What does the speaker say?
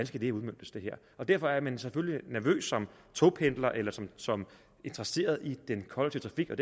skal udmøntes og derfor er man selvfølgelig som togpendler eller som som interesseret i den kollektive